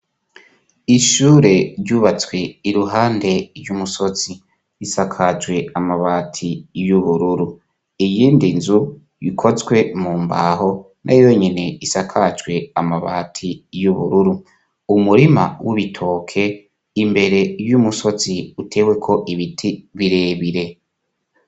Ishure ryubatswe iruhande ry'umusozi risakajwe amabati y'ubururu iyindi nzu yikozwe mu mbaho na yonyene isakajwe amabati y'ubururu umurima w'ubitoke imbere y'umusozi uteweko ibiti birebire.